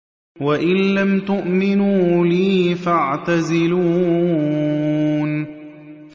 وَإِن لَّمْ تُؤْمِنُوا لِي فَاعْتَزِلُونِ